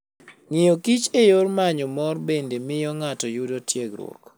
Ng'iyo kich e yor manyo mor bende miyo ng'ato yudo tiegruok.